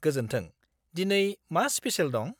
गोजोन्थों, दिनै मा स्पेसेल दं?